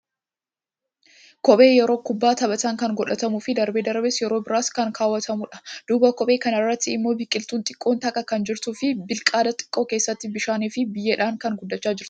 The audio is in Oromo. kophee yeroo kubbaa taphatan kan godhatamuu fii darbee darbees yeroo biraas kan kaawwatamuudha. duuba kophee kanaatti immoo biqiltuun xiqqoon takka kan jirtuu fii bilqaada xiqqoo keessatti bishaanii fii biyyeedhan kan guddachaa jirtuudha.